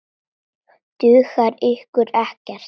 Dugar ykkur ekkert?